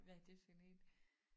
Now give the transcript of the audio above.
Hvad er det for en?